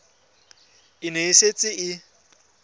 e ne e setse e